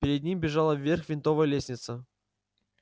перед ним бежала вверх винтовая лестница